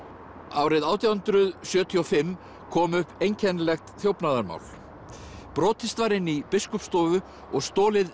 árið átján hundruð sjötíu og fimm kom upp einkennilegt þjófnaðarmál brotist var inn í Biskupsstofu og stolið